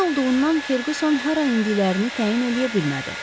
Gecə olduğundan Ferquson hara endiklərini təyin eləyə bilmədi.